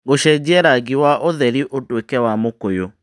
gũcenjia rangi wa ũtheri ũtuĩke wa mũkũyũ